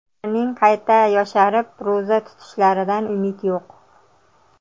Ularning qayta yosharib, ro‘za tutishlaridan umid yo‘q.